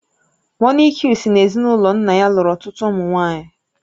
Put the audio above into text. Monique si n'ezinụlọ nna ya lụrụ ọtụtụ ụmụ nwaanyị